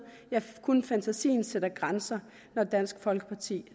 ja kun fantasien sætter grænser når dansk folkeparti